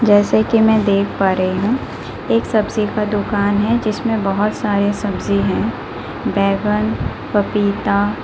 जैसे कि मैं देख पा रही हूं एक सब्जी का दुकान है जिसमें बहुत सारी सब्जी हैं पपीता--